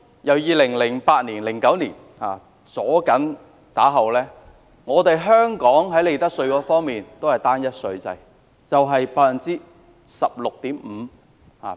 由 2008-2009 年度起的多年內，香港在利得稅方面實行單一稅制，稅率為 16.5%。